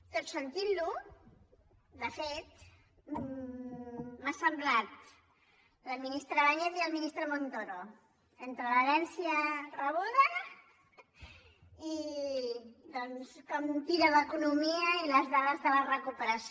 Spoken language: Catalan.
tot sentint lo de fet m’ha semblat la ministra báñez i el ministre montoro entre l’herència rebuda i doncs com tira l’economia i les dades de la recuperació